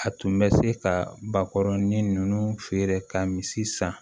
A tun bɛ se ka bakɔrɔnin ninnu feere ka misi san